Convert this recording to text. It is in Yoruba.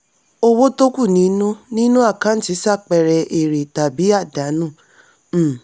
owó tó kù nínú nínú àkáǹtì ṣàpẹẹrẹ èrè tàbí àdánù. um